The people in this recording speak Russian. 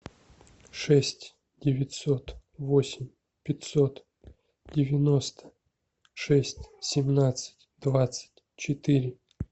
шесть девятьсот восемь пятьсот девяносто шесть семнадцать двадцать четыре